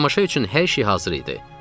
Tamaşa üçün hər şey hazır idi.